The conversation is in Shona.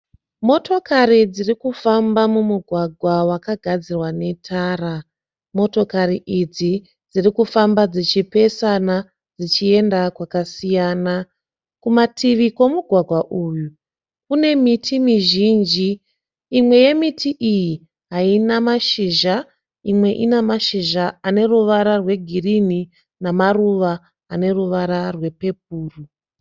Motokari dziri kufamba mumugwagwa wakagadzirwa netara. Motokari idzi dziri kufamba dzichipesana dzichienda kwakasiyana. Kumativi kwemugwagwa uyu kune miti mizhinji, imwe yemiti iyi haina mashizha imwe ine mashizha aneruva rwegirini namaruva ane ruvara rwepepuru.